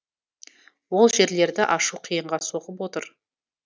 ол жерлерді ашу қиынға соғып отыр